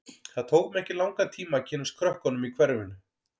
Það tók mig ekki langan tíma að kynnast krökkunum í hverfinu.